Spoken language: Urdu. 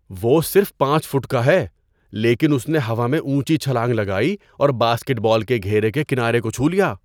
وہ صرف پانچ فٹ کا ہے لیکن اس نے ہوا میں اونچی چھلانگ لگائی اور باسکٹ بال کے گھیرے کے کنارے کو چھو لیا۔